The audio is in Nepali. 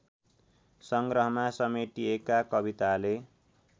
संग्रहमा समेटिएका कविताले